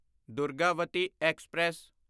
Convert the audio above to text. Durgavati express